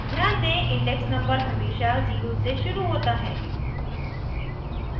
* ध्यान दें कि index number हमेश zero से शुरू होता है